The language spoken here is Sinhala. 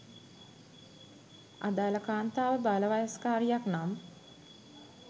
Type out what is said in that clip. අදාළ කාන්තාව බාලවයස්කාරියක් නම්